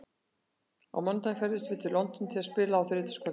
Á mánudag ferðumst við til London til að spila á þriðjudagskvöld.